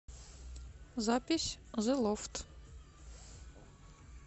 запись зэ лофт